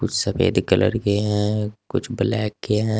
सफेद कलर के हैं कुछ ब्लैक के हैं।